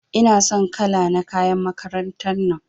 Ina son kala na kayan makarantar nan.